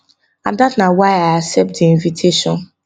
and dat na why i accept di invitation